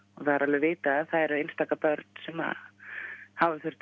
er vitað að það eru einstaka börn sem hafa þurft